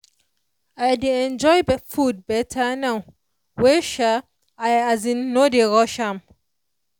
i dey enjoy food better now wey i as in no dey rush am.